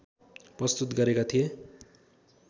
प्रस्तुत गरेका थिए